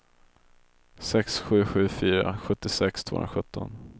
sex sju sju fyra sjuttiosex tvåhundrasjutton